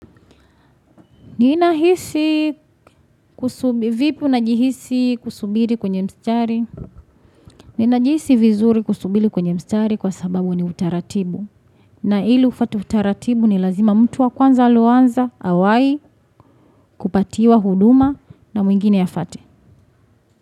Ninahisi kusubili kwenye mstari? Ninajihisi vizuri kusubili kwenye mstari kwa sababu ni utaratibu. Na ili ufuate utaratibu ni lazima mtu wa kwanza aloanza, awai, kupatiwa huduma na mwingine yafate.